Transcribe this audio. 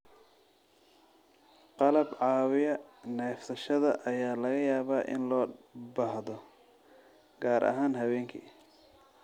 Qalab caawiya neefsashada ayaa laga yaabaa in loo baahdo, gaar ahaan habeenkii.